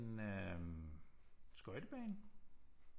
En øh skøjtebane